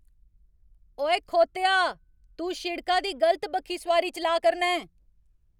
ओए, खोतेआ। तूं शिड़का दी गलत बक्खी सोआरी चलाऽ करना ऐं।